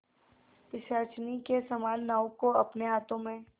पिशाचिनी के समान नाव को अपने हाथों में